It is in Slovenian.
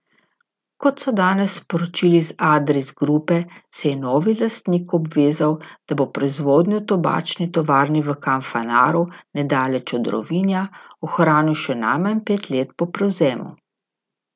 Kot so danes sporočili iz Adris Grupe, se je novi lastnik obvezal, da bo proizvodnjo v tobačni tovarni v Kanfanaru nedaleč od Rovinja ohranil še najmanj pet let po prevzemu.